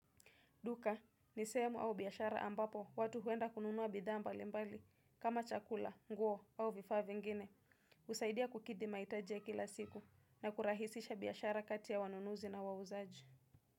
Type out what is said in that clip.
Duka, ni sehemu au biashara ambapo watu huenda kununua bidhaa mbali mbali kama chakula, nguo au vifaa vingine husaidia kukidhi mahitaji ya kila siku na kurahisisha biashara kati ya wanunuzi na wauzaji.